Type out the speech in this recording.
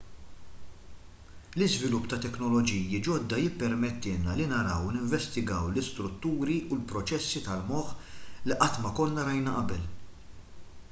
l-iżvilupp ta' teknoloġiji ġodda jippermettilna li naraw u ninvestigaw l-istrutturi u l-proċessi tal-moħħ li qatt ma konna rajna qabel